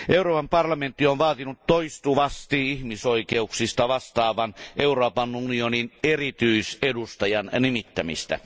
Euroopan parlamentti on vaatinut toistuvasti ihmisoikeuksista vastaavan Euroopan unionin erityisedustajan nimittämistä.